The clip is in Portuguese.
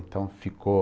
Então, ficou...